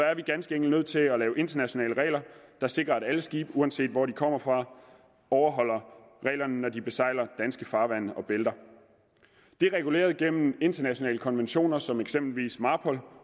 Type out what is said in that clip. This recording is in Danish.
er vi ganske enkelt nødt til at lave internationale regler der sikrer at alle skibe uanset hvor de kommer fra overholder reglerne når de besejler danske farvande og bælter det er reguleret igennem internationale konventioner som eksempelvis marpol